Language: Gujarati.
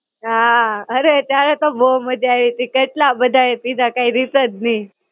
હાં, અરે ત્યારે તો બહું મજા આયવી તી. કેટલા બધાએ પીધા કાંઈ રીત જ ની.